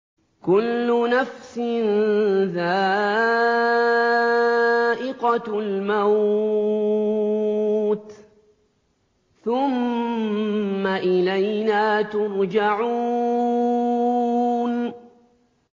كُلُّ نَفْسٍ ذَائِقَةُ الْمَوْتِ ۖ ثُمَّ إِلَيْنَا تُرْجَعُونَ